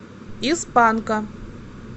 из панка